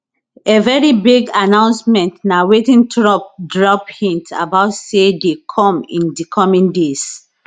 a very big announcementna wetin trump drop hint about say dey come in di coming days